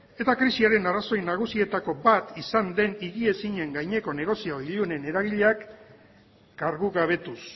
eta krisiaren arrazoi nagusietako bat izan den higiezinen gaineko negozio ilunen eragileak kargugabetuz